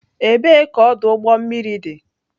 Ebee ka ọdụ ụgbọ mmiri dị?